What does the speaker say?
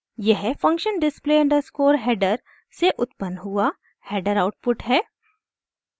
यह function display underscore header से उत्पन्न हुआ हैडर आउटपुट है